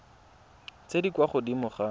tse di kwa godimo ga